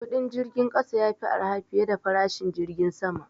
Kudin jirgin kasa ya fi arha fiye da farashin jirgin sama.